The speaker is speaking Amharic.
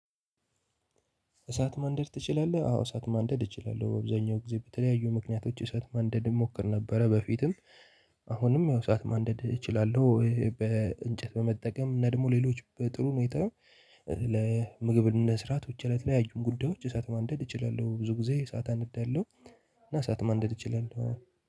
እሳት ማንደድ ትችላለህ? አዎ እሳት ማንደድ እችላለሁ አብዛኛው ጊዜ በተለያዩ ምክንያቶች እሳት ማንደድ እሞክር ነበረ በፊትም። አሁንም ያው እሳት ማንደድ እችላለሁ በእንጨት በመጠቀም እና ደግሞ ሌሎች በጥሩ ሁኔታ። ለምግብ ለመስራት ብቻ ለተለያዩ ጉዳዮች እሳት ማንደድ እችላለሁ ብዙ ጊዜ እሳት አነዳለሁ። እና እሳት ማንደድ እችላለሁ።